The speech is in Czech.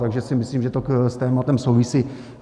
Takže si myslím, že to s tématem souvisí.